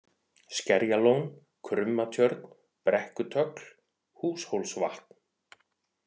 Skerjalón, Krummatjörn, Brekkutögl, Húshólsvatn